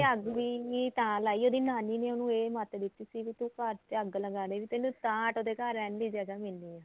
ਅੱਗ ਵੀ ਤਾਂ ਲਾਈ ਉਹਦੀ ਨਾਨੀ ਨੇ ਉਹਨੂੰ ਇਹ ਮੱਤ ਦਿੱਤੀ ਸੀ ਵੀ ਤੂੰ ਘਰ ਤੇ ਅੱਗ ਲੱਗਾ ਦੇ ਵੀ ਤੈਨੂੰ ਤਾਂ ਉਹਦੇ ਘਰ ਰਹਿਣ ਦੀ ਜਗ੍ਹਾ ਮਿਲਣੀ ਐ